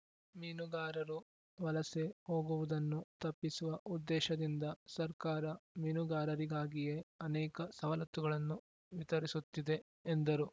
ಮೀನುಗಾರರು ವಲಸೆ ಹೋಗುವುದನ್ನು ತಪ್ಪಿಸುವ ಉದ್ದೇಶದಿಂದ ಸರ್ಕಾರ ಮೀನುಗಾರರಿಗಾಗಿಯೇ ಅನೇಕ ಸವಲತ್ತುಗಳನ್ನು ವಿತರಿಸುತ್ತಿದೆ ಎಂದರು